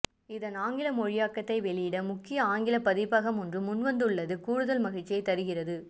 இதன் ஆங்கில மொழியாக்கத்தை வெளியிட முக்கிய ஆங்கிலப் பதிப்பகம் ஒன்று முன்வந்துள்ளது கூடுதல் மகிழ்ச்சி தருகிறது